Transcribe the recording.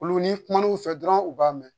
Olu ni kumana u fɛ dɔrɔn u b'a mɛn